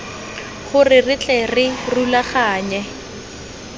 gore re tle re rulaganye